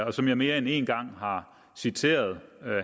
og som jeg mere end en gang har citeret